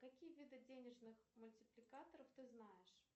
какие виды денежных мультипликаторов ты знаешь